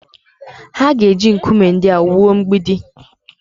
Ha ga-eji nkume ndị a wuo mgbidi